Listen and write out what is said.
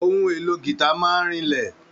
Ohun èlò gita máa n rinlẹ.